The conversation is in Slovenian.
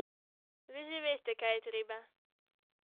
Vi že veste, kaj je treba ...